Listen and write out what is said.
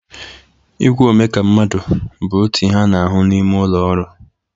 Igwe omeka mmadụ bụ otu ihe a na-ahụ n'ime ụlọ ọrụ.